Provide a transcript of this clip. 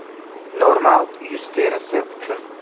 Normal yuz terisi uchun .